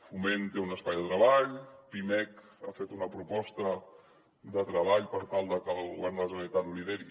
foment té un espai de treball pimec ha fet una proposta de treball per tal de que el govern de la generalitat lideri